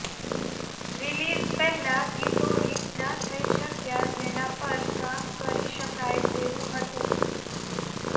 release પહેલા ગીતો hit ના થઇ શક્યા જેના પર કામ કરી શકાય તેવું હતું